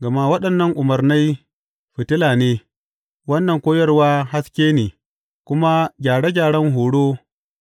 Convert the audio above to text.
Gama waɗannan umarnai fitila ne, wannan koyarwa haske ne, kuma gyare gyaren horo